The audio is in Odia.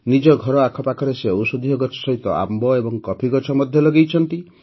ନିଜ ଘର ଆଖପାଖରେ ସେ ଔଷଧୀୟ ଗଛ ସହିତ ଆମ୍ବ ଓ କଫି ଗଛ ମଧ୍ୟ ଲଗାଇଛନ୍ତି